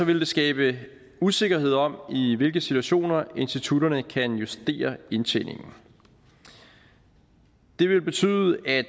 ville det skabe usikkerhed om i hvilke situationer institutterne kan justere indtjeningen det ville betyde at